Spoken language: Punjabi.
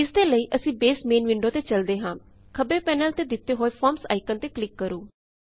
ਇਸਦੇ ਲਈ ਅਸੀਂ ਬੇਸ ਮੇਨ ਵਿੰਡੋ ਤੇ ਚਲਦੇ ਹਾਂ ਖੱਬੇ ਪੈਨਲ ਤੇ ਦਿਤੇ ਹੋਏ ਫਾਰਮਜ਼ ਆਇਕਨ ਤੇ ਕਲਿਕ ਕਰੋ